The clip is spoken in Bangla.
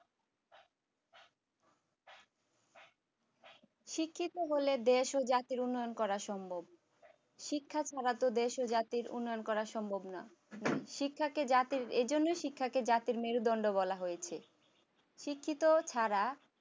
শিক্ষিত হলে দেশ ও জাতের উন্নয়ান করা সম্ভব শিক্ষা ছাড়া দেশ ও জাতির উন্নয়ন করা সম্ভব নয় শিক্ষাকে জাতির এই জন্যই শিক্ষাকে জাতির মেরুদন্ড বলা হয়েছে শিক্ষিত ছাড়া